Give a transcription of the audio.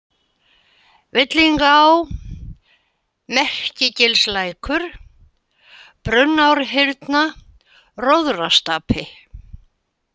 Villingaá, Merkigilslækur, Brunnárhyrna, Róðrastapi